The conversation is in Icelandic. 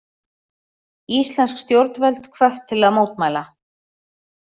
Íslensk stjórnvöld hvött til að mótmæla